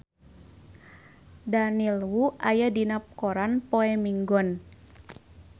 Daniel Wu aya dina koran poe Minggon